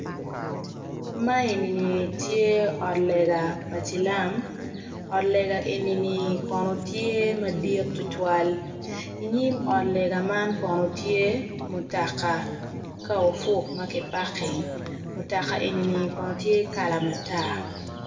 Ma enini tye ot lega pa cilam ot lega enini konon tye madit tutwal inyim ot lega man kono tye mutaka car ofuk ma ki paking mutaka enini kono tye kala matar